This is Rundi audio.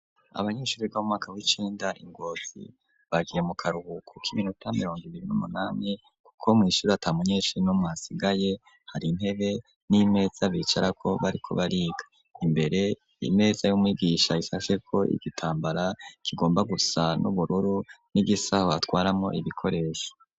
Abanyeshure w'omwaka w'icinda ingobi bagiye mu karuhuko ko iminota mirongo ibiri n'umunami kuko mu ishure atamunyeshi no mu asigaye hari intebe n'imeza bicara ko bari ko bariga imbere imeza y'umigisha isase ko igitambara kigomba gusa n'ubururu n'igisaho atwaramo ibikoresho.